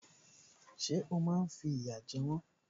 Ṣé o máa fi ìyà jẹ wọ́n?